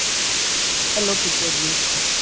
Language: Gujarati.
Hellofuturebee